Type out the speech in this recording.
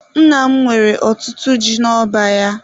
Nna m nwere ọtụtụ ji n'ọba ya.